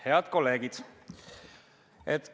Head kolleegid!